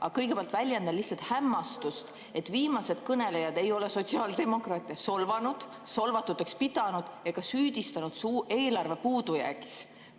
Aga kõigepealt väljendan lihtsalt hämmastust, et viimased kõnelejad ei ole sotsiaaldemokraate solvanud, solvatuteks pidanud ega süüdistanud neid eelarve puudujäägis.